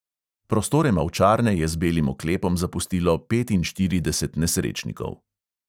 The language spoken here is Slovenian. Prostore mavčarne je z belim oklepom zapustilo petinštirideset nesrečnikov.